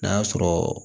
N'a sɔrɔ